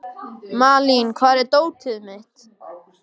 Malín, hvar er dótið mitt?